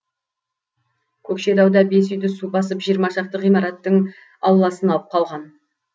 көкшетауда бес үйді су басып жиырма шақты ғимараттың ауласын алып қалған